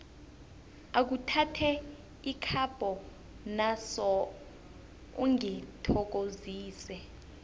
akhuthathe ikapho naso ungithokozise